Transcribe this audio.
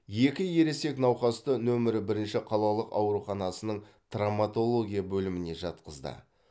екі ересек науқасты нөмірі бірінші қалалық ауруханасының травматология бөліміне жатқызды